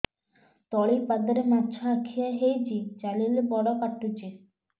ତଳିପାଦରେ ମାଛିଆ ଖିଆ ହେଇଚି ଚାଲିଲେ ବଡ଼ କାଟୁଚି